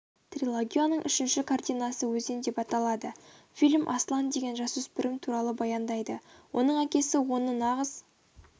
трилогияның үшінші картинасы өзен деп аталады фильм аслан деген жасөспірім туралы баяндайды оның әкесі оны нағыз